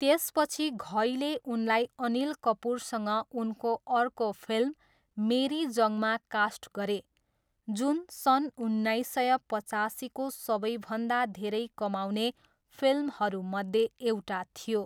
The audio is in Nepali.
त्यसपछि घईले उनलाई अनिल कपुरसँग उनको अर्को फिल्म मेरी जंगमा कास्ट गरे, जुन सन् उन्नाइस सय पचासीको सबैभन्दा धेरै कमाउने फिल्महरूमध्ये एउटा थियो।